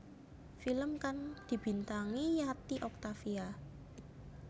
Film kang dibintangi Yati Octavia